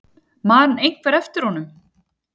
Man einhver eftir honum?